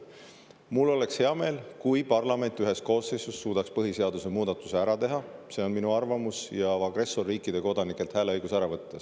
Mul oleks hea meel, kui parlament ühes koosseisus suudaks põhiseaduse muudatuse ära teha – see on minu arvamus – ja agressorriikide kodanikelt hääleõiguse ära võtta.